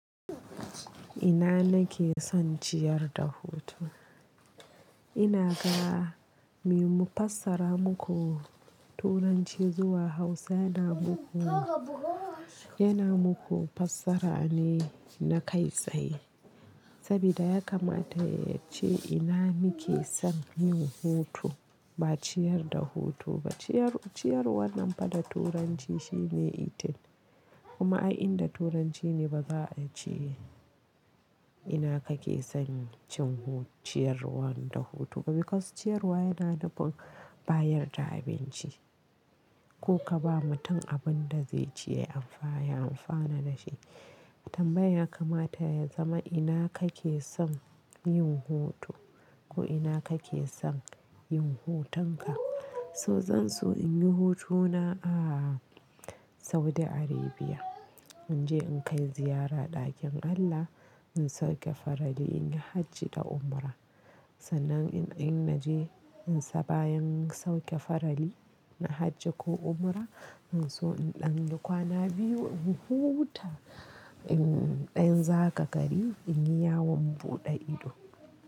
Ina nake son ciyar da hutu? Ina ga me mufassara muku turanci zuwa Hausa yana muku, yana muku fassara ne na kai tsaye. Sabida ya kamata yace ina nake son yin hutu ba ciyar da hutu ba. Ciyar, ciyar wannan fa da Turanci shine eating. Kuma ai inda Turanci ne ba za'a ce, ina kake son cin hutu, ciyarwan da hutu ba because ciyarwa yana nufin bayar da abinci. Ko ka ba mutum abun da zai ci ya amfaya, ya amfana da shi. Tambayan ya kamata ya zama ina kake son yin hutu? Ko ina kake son yin hutunka? So zan so inyi hutuna a Saudi Arabia. Inje in kai ziyara ɗakin Allah, in sauke farali, inyi hajji da umra. Sannan in, in naje in sa-bayan sauke farali na hajji ko umra, in so in ɗanyi kwana biyu in huta, in ɗan zaga gari in yi yawon buɗe ido.